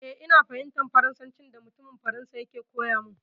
Eh, ina fahimtar Farnsancin da mutumin Faransa yake koya min.